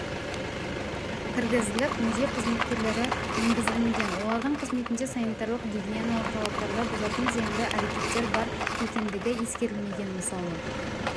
кіргізіліп музей қызметкерлері енгізілмеген олардың қызметінде санитарлық-гигиеналық талаптарды бұзатын зиянды әрекеттер бар екендігі ескерілмеген мысалы